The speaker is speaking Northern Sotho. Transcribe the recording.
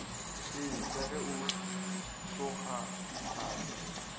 ee ka ge o tlokgahlale